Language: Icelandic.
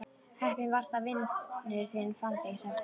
Heppinn varstu að vinur þinn fann þig, sagði konan.